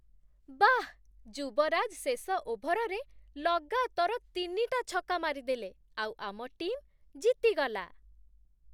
ବାଃ! ଯୁବରାଜ ଶେଷ ଓଭରରେ ଲଗାତର ତିନିଟା ଛକା ମାରିଦେଲେ ଆଉ ଆମ ଟିମ୍ ଜିତିଗଲା ।